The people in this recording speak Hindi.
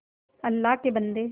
अल्लाह के बन्दे